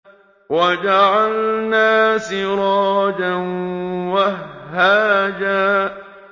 وَجَعَلْنَا سِرَاجًا وَهَّاجًا